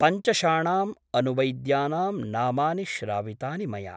पञ्चषाणाम् अनुवैद्यानां नामानि श्रावितानि मया ।